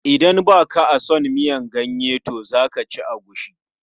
Idan ba ka a son miyan ganye to za ka ci agushi.